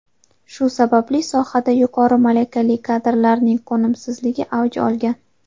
Shu sababli sohada yuqori malakali kadrlarning qo‘nimsizligi avj olgan.